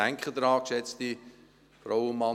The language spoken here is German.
Denken Sie daran, geschätzte Frauen und Männer: